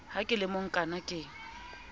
ha ke le mokaana ke